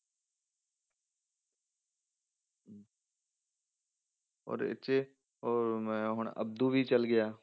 ਔਰ ਇਹ 'ਚ ਔਰ ਮੈਂ ਹੁਣ ਅਬਦੂ ਵੀ ਚਲੇ ਗਿਆ।